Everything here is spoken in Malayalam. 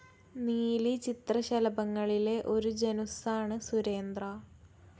നീലി ചിത്രശലഭങ്ങളിലെ ഒരു ജനുസ്സാണ് സുരേന്ദ്ര.